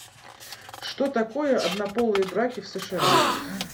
что такое однополые браки в сша